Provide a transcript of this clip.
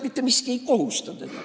Mitte miski ei kohusta teda.